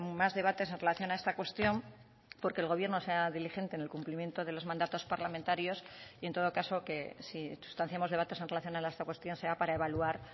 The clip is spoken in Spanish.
más debates en relación a esta cuestión porque el gobierno sea diligente en el cumplimiento de los mandatos parlamentarios y en todo caso que si sustanciamos debates en relación a esta cuestión sea para evaluar